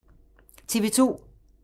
TV 2